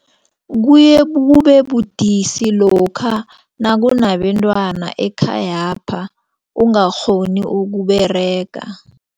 Kuye kube lokha nakunabentwana ekhayapha ungakghoni ukuberega.